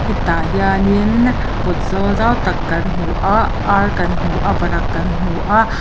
hetah hian innn kawt zawl zau tak kan hmu ah ar kan hmu a varak kan hmu a.